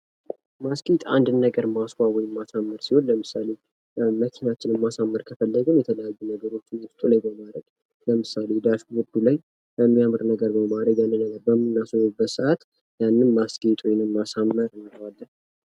ማስጌጥ አንድን ነገር ማስዋብ ወይም ማሳመር ሲሆን ለምሳሌ መኪናችንን ማሳመር ከፈለግን የተለያዩ ነገሮችን ውስጡ ላይ በማድረግ ለምሳሌ ዳሽ ቦርዱ ላይ የሚያምር ነገር በማድረግ አንድ ላይ በምናስውበበት ሰአት ያንን ማስጌጥ ወይም ማሳመር እንለዋለን።